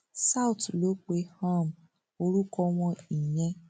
south ló pe um orúkọ wọn ìyẹn